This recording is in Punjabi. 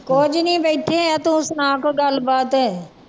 ਕੁੱਝ ਨੀ ਬੈਠੇ ਹਾਂ ਤੂੰ ਸੁਣਾ ਕੋਈ ਗੱਲਬਾਤ